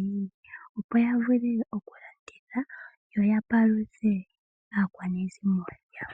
ili opo ya vule okulanditha ya vule okwiipalutha.